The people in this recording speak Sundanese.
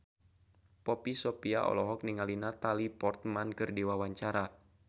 Poppy Sovia olohok ningali Natalie Portman keur diwawancara